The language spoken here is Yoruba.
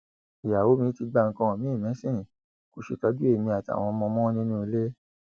ìyàwó mi ti gba nǹkan miin mẹsìn kò ṣètọjú èmi àtàwọn ọmọ mọ nínú ilé